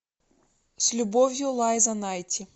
с любовью лайза найти